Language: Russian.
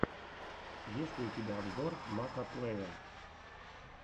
есть ли у тебя обзор макоплэя